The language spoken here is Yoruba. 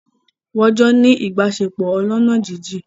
Wọ́n jọ́ ń ní ìbáṣepọ̀ ọlọ́ná jíjìn